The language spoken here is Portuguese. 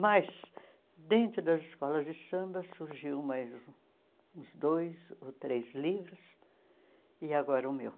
Mas, dentro das escolas de samba, surgiu mais uns dois ou três livros, e agora o meu.